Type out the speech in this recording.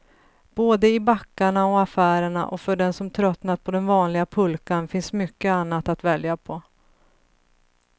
Både i backarna och affärerna, och för den som tröttnat på den vanliga pulkan finns mycket annat att välja på.